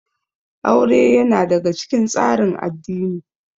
Aure ya na daga cikin tsarin addini